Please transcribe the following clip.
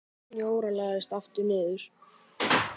Jóra lagðist aftur niður.